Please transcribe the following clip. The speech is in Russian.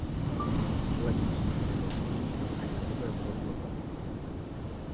логично сказал папулька опрокидывая в рот бокал